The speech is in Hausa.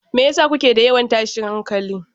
Me yasa kuke da yawan tashin hankali?